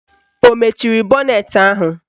Ọ mechiri bọnetị ahụ?